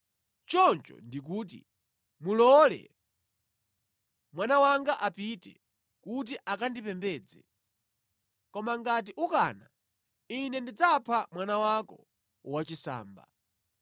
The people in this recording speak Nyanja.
Choncho ndikuti, ‘Mulole mwana wanga apite kuti akandipembedze. Koma ngati ukana, Ine ndidzapha mwana wako wachisamba.’ ”